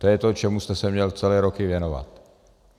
To je to, čemu jste se měl celé roky věnovat.